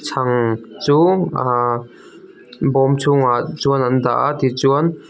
chhang chu aa bawm chhungah chuan an dah a tichuan--